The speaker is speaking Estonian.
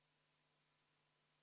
Palun võtta seisukoht ja hääletada!